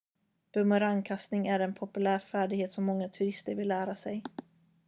bumerangkastning är en populär färdighet som många turister vill lära sig